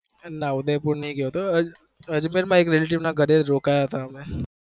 નાં ઉદયપુર નહી ગયો હું હો